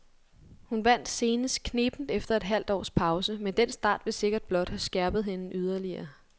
Hun vandt senest knebent efter et halvt års pause, men den start vil sikkert blot have skærpet hende yderligere.